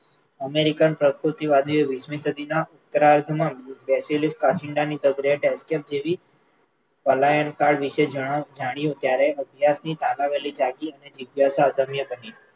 American પ્રકૃતિવાદીએ વીસમી સદીના શરૂઆતમાં બેસેલી કાંચિડાની the great એજેબ જેવી પલાયન કાળ વિષે જાણ્યું ત્યારે અભ્યાસની તાલાવેલી જાગી અને જિજ્ઞાસા અદમ્ય બની.